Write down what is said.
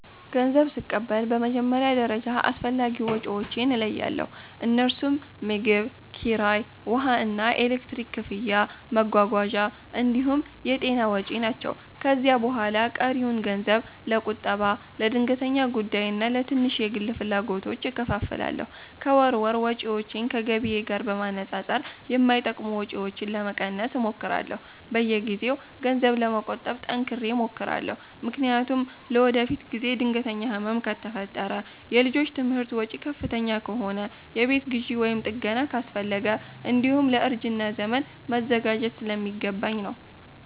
ገንዘብ ስቀበል በመጀመሪያ ደረጃ አስፈላጊ ወጪዎቼን እለያለሁ፤ እነርሱም ምግብ፣ ኪራይ፣ ውሃና ኤሌክትሪክ ክፍያ፣ መጓጓዣ እንዲሁም የጤና ወጪ ናቸው። ከዚያ በኋላ ቀሪውን ገንዘብ ለቁጠባ፣ ለድንገተኛ ጉዳይና ለትንሽ የግል ፍላጎቶች እከፋፍላለሁ። ከወር ወር ወጪዎቼን ከገቢዬ ጋር በማነጻጸር የማይጠቅሙ ወጪዎችን ለመቀነስ እሞክራለሁ። በየጊዜው ገንዘብ ለመቆጠብ ጠንክሬ እሞክራለሁ፤ ምክንያቱም ለወደፊት ጊዜ ድንገተኛ ህመም ከፈጠረ፣ የልጆች ትምህርት ወጪ ከፍተኛ ከሆነ፣ የቤት ግዢ ወይም ጥገና አስፈለገ፣ እንዲሁም ለእርጅና ዘመን መዘጋጀት ስለሚገባኝ ነው።